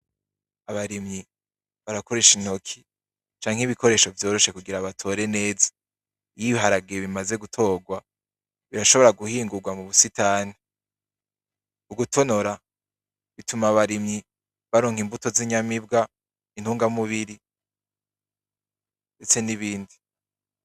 Abarimyi barakoresha intoke canke igikoresho vyoroshe kugira batore neza. Iyo ibiharage bimaze gutorwa ,birashobora guhingurwa mubu sitani. Ugutonora bituma abarimyi baronka imbuto zinyamibwa, intunga mubiri, ndetse n'ibindi.